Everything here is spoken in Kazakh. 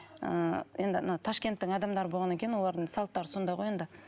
ы енді мына ташкенттің адамдары болғаннан кейін олардың салттары сондай ғой енді